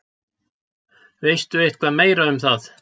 Veistu eitthvað meira um það?